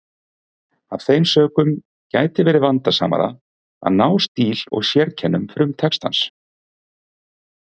Af þeim sökum gæti verið vandasamara að ná stíl og sérkennum frumtextans.